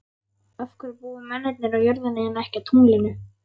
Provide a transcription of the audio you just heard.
Af hverju búa mennirnir á jörðinni en ekki á tunglinu?